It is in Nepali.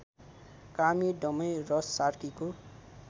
कामी दमाई र सार्कीको